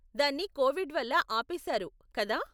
దాన్ని కోవిడ్ వల్ల ఆపేశారు, కదా?